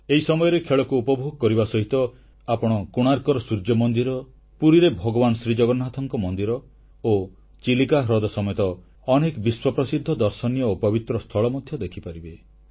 ଏହି ସମୟରେ ଖେଳକୁ ଉପଭୋଗ କରିବା ସହିତ ଆପଣ କୋଣାର୍କର ସୂର୍ଯ୍ୟମନ୍ଦିର ପୁରୀରେ ଭଗବାନ ଶ୍ରୀଜଗନ୍ନାଥଙ୍କ ମନ୍ଦିର ଓ ଚିଲିକା ହ୍ରଦ ସମେତ ଅନେକ ବିଶ୍ୱପ୍ରସିଦ୍ଧ ଦର୍ଶନୀୟ ଓ ପବିତ୍ର ସ୍ଥଳ ମଧ୍ୟ ଦେଖିପାରିବେ